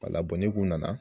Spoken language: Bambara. Bala ne kun nana.